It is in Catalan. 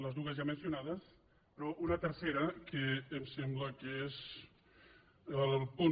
les dues ja mencionades però una tercera que em sembla que és la del punt